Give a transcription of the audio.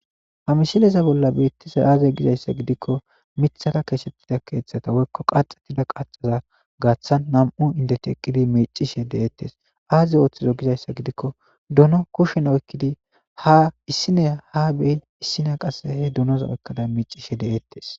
Ha mishileza bolla beettise aaze gizayssa gidikko mithara keesettida keeththata woykko qaxatida qaxaza gaaththan nam'u indeti eqqidi miicishe de'eettes aaze ooththizo gizayssa gidikko duno kushen oykkidi ha issineya ha beyin issina qasse he dunoza oykkada miicishe de'eettes.